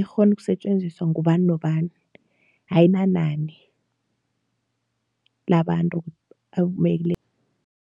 ikghona ukusetjenziswa ngubani nobani ayinani labantu